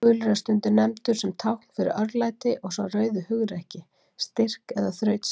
Gulur er stundum nefndur sem tákn fyrir örlæti og sá rauði hugrekki, styrk eða þrautseigju.